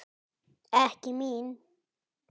Ekki mín.